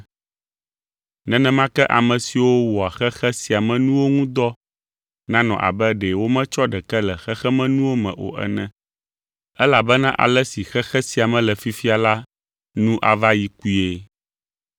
Nenema ke ame siwo wɔa xexe sia me nuwo ŋu dɔ nanɔ abe ɖe wometsɔ ɖeke le xexemenuwo me o ene. Elabena ale si xexe sia me le fifia la nu ava yi kpuie.